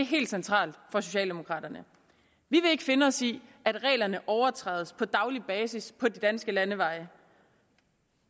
helt centralt for socialdemokraterne vi vil ikke finde os i at reglerne overtrædes på daglig basis på de danske landeveje